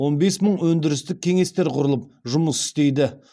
он бес мың өндірістік кеңестер құрылып жұмыс істейді